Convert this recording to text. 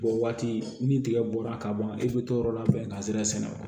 O waati ni tigɛ bɔra ka ban i bɛ t'o yɔrɔ labɛn ka sera sɛnɛ wa